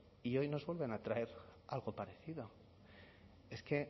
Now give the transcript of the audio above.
y hoy nos vuelven a traer algo parecido es que